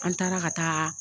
An taara ka taa.